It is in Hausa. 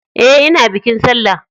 E, ina bikin sallah.